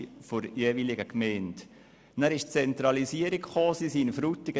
Danach kam es zur Zentralisierung in Frutigen.